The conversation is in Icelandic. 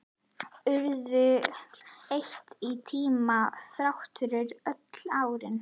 Urðu eitt í tímanum, þrátt fyrir öll árin.